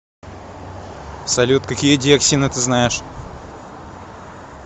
салют какие диоксины ты знаешь